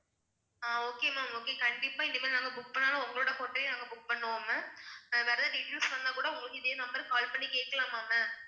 okay ma'am okay கண்டிப்பா இனிமேல் நாங்க book பண்ணாலும் உங்களோட hotel யே நாங்க book பண்ணுவோ ma'am வேற எதாவது details வேணுனா கூட உங்களுக்கு இதே number க்கு call பண்ணி கேட்கலா ma'am